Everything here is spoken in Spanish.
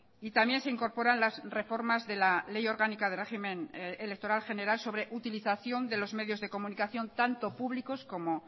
y también se incorporan las reformas de la ley orgánica de régimen electoral general sobre utilización de los medios de comunicación tanto públicos como